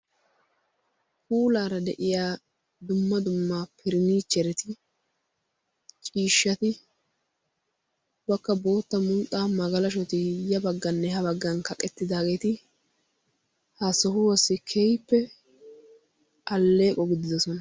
Puulaara de'iyaa dumma dumma faranichchereti ciishshati ubbakka bootta mulxxa magalashshoti ya baggan ha baggan kaqqettida mgalashshoti ha sohuwassi keehippe alleeqqo gididoosona.